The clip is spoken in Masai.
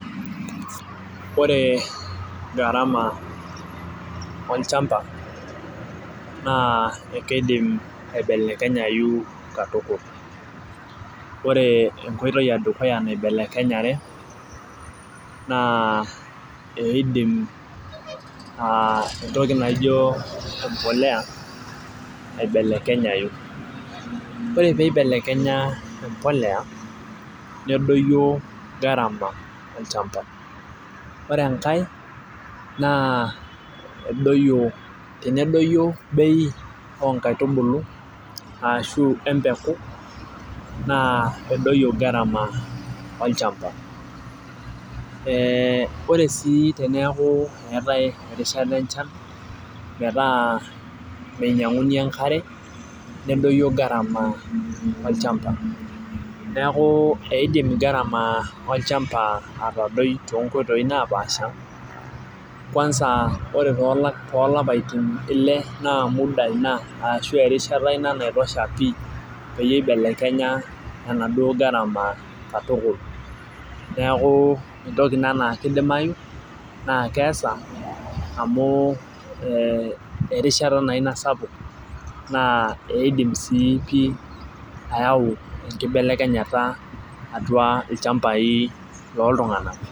Ore gharama olchampa naa ekeidim aibelekenyayu katukul. ore enkoitoi edukuya naibelekenyare, naa. ekeidim entoki naijo empuliya, aibelekenyayu. ore pee eibelekenya empuliya. nedoyio gharama olchampa. ore enkae, naa edoyio. tenedoyio bei oo nkaitubulu ashu empuka naa edoyio gharama olchampa.ee ore sii teneeku eetae erishata enchan metaa meinyianguni enkare, nedoyio gharama, olchampa. neeku eidim gharama olchampa atadoi too nkoitoi napaasha. kuansa, ore toolapaitin Ile naa muda Ina, ashu erishata Ina naitosha pii peyie eibelekenya, enaduoo gharama katukul. neeku entoki Ina naa kidimayu, naa keesa amu erishata naa Ina sapuk naa eidim sii pii ayau enkibelekenyata atua ilchampai looltunganak.